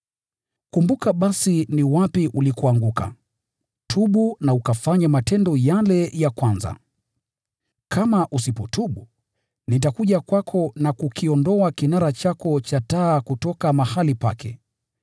Kumbuka basi ni wapi ulikoangukia! Tubu na ukafanye matendo yale ya kwanza. Kama usipotubu, nitakuja kwako na kukiondoa kinara chako cha taa kutoka mahali pake.